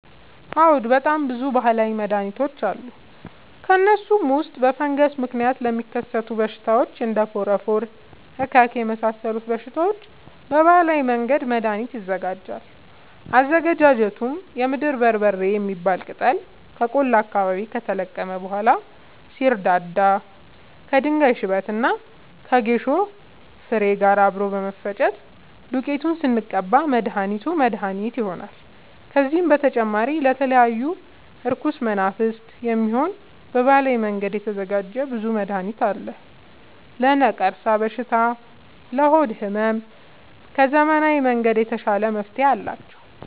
አዎድ በጣም ብዙ በሀላዊ መድሀኒቶች አሉ ከእነሱም ውስጥ በፈንገስ ምክንያት ለሚከሰቱ በሽታዎች እንደ ፎረፎር እከክ የመሳሰሉ በሽታዎች በባህላዊ መንገድ መድሀኒት ይዘጋጃል አዘገጃጀቱም የምድር በርበሬ የሚባል ቅጠል ከቆላ አካባቢ ከተለቀመ በኋላ ሲደርዳ ከድንጋይ ሽበት እና ከጌሾ ፋሬ ጋር አብሮ በመፈጨት ዱቄቱን ስንቀባ መድሀኒት መድሀኒት ይሆነናል። ከዚህም በተጨማሪ ለተለያዩ እርኩስ መናፍት፣ የሚሆን በባህላዊ መንገድ የተዘጋጀ ብዙ መድሀኒት አለ። ለነቀርሻ በሽታ ለሆድ ህመም ከዘመናዊ መንገድ የተሻለ መፍትሄ አላቸው።